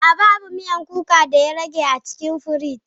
A'a, babu miyan kuka da ya rage a cikin firij.